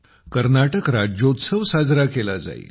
कर्नाटक राज्योत्सव साजरा केला जाईल